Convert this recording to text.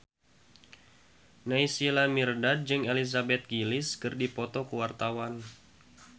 Naysila Mirdad jeung Elizabeth Gillies keur dipoto ku wartawan